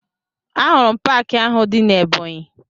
Ahụrụ m paakị ahụ dị na Ebọnyị